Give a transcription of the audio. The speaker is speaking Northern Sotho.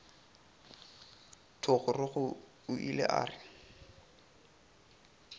thogorogo o ile a re